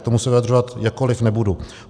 K tomu se vyjadřovat jakkoliv nebudu.